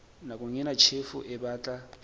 nakong ena tjhefo e batla